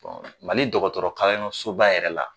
Bon Mali dɔgɔtɔrɔ kalanyɔrɔ soba yɛrɛ la